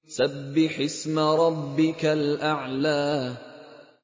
سَبِّحِ اسْمَ رَبِّكَ الْأَعْلَى